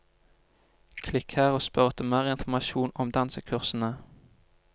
Klikk her og spør etter mer informasjon om dansekursene.